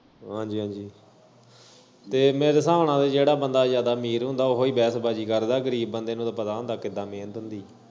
ਹਾਂਜੀ ਹਾਂਜੀ ਤੇ ਮੇਰੇ ਸਾਬ ਨਾਲ ਜੇੜਾ ਬੰਦਾ ਜਿਆਦਾ ਅਮੀਰ ਹੁੰਦਾ ਓਹੀ ਵੈਸਬਾਜੀ ਕਰਦਾ ਤੇ ਗਰੀਬ ਬੰਦੇ ਨੂੰ ਪਤਾ ਹੁੰਦਾ ਕਿੱਦਾਂ ਮੇਹਨਤ ਹੁੰਦੀ।